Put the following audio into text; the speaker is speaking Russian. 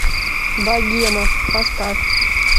богема поставь